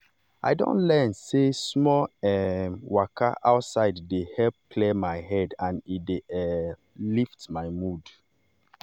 um i don learn sey small um waka outside dey help clear my head and e dey um lift my mood.